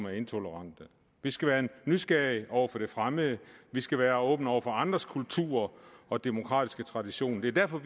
er intolerante vi skal være nysgerrig over for det fremmede vi skal være åbne over for andres kultur og demokratiske tradition det er derfor